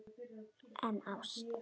En ást?